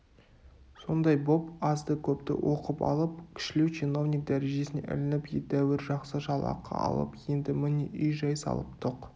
сондай боп азды-көпті оқып алып кішілеу чиновник дәрежесіне ілініп едәуір жақсы жалақы алып енді міне үй-жай салып тоқ